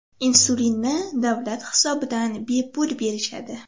Insulinni davlat hisobidan bepul berishadi.